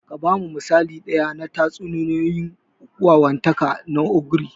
Ka ba mu misali ɗaya na tatsuniyoyin wawantaka na ogre.